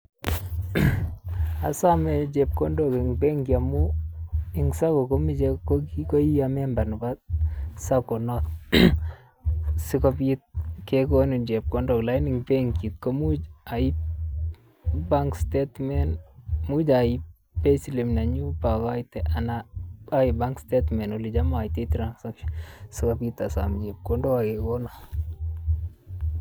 Asome chepkondok eng benki amun eng sacco komache ii memba nebo sacco noto sikopit kekonin chepkondok alakini eng benki komuch aiip bank statement anan aiip payslip ipokoite anan aiip bank statement olecham aiyaitoi transfer sikopit asom chepkondok ak kekono.